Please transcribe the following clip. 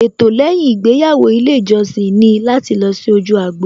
Ètò lẹ́yìn ìgbéyàwó ilé ìjọsìn ni láti lọ sí ojú agbo